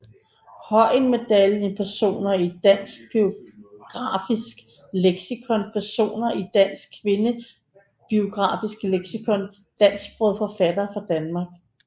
Høyen Medaljen Personer i Dansk Biografisk Leksikon Personer i Dansk Kvindebiografisk Leksikon Dansksprogede forfattere fra Danmark